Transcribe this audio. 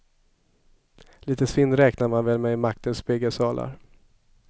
Lite svinn räknar man väl med i maktens spegelsalar.